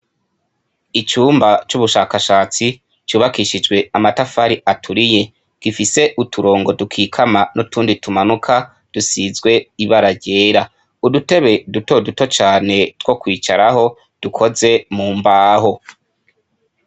Icumba c'ubushakashatsi cubakishijwe amatafari aturiye gifise uturongo dukikama n'utundi tumanuka dusizwe ibara ryera, udutebe duto duto cane two kwicaraho dukozwe mu mbaho.